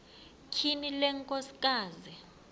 tyhini le nkosikazi